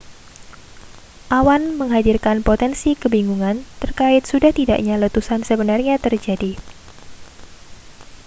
awan menghadirkan potensi kebingungan terkait sudah tidaknya letusan sebenarnya terjadi